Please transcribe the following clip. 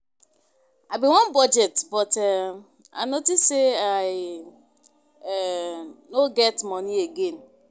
I bin wan budget but um I notice say I um no get money again